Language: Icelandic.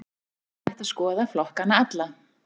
Hér er hægt að skoða flokkana alla.